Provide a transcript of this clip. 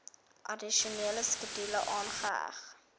addisionele skedule aangeheg